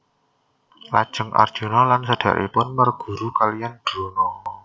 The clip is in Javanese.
Lajeng Arjuna lan sederekipun merguru kaliyan Drona